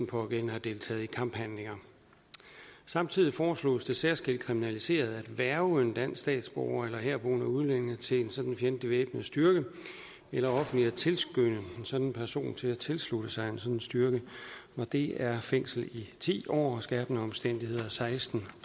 pågældende har deltaget i kamphandlinger samtidig foreslås det særskilt kriminaliseret at hverve en dansk statsborger eller herboende udlænding til en sådan fjendtlig væbnet styrke eller offentligt at tilskynde en sådan person til at tilslutte sig en sådan styrke og det er fængsel i ti år og under skærpende omstændigheder i seksten